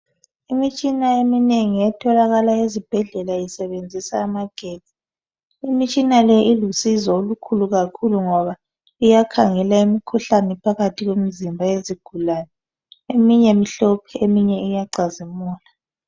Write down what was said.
Imitshina eminengi etholakala ezibhedlela isebenzisa amagetsi, imitshina le ilusizo olukhulu kakhulu ngoba iyakhangela imkhuhlane phakathi kwemzimba yezigulane. Eminye mihlophe eminye iyacazimula.